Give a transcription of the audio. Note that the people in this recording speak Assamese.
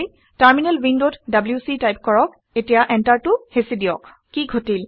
টাৰমিনেল উইণ্ডত ডব্লিউচি টাইপ কৰক এতিয়া এন্টাৰটো হেঁচি দিয়ক কি ঘটিল